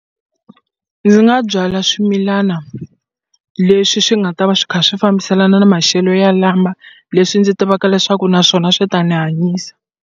Ndzi nga byala swimilana leswi swi nga ta va swi kha swi fambiselana na maxelo ya lama leswi ndzi tivaka leswaku naswona swi ta ni hanyisa.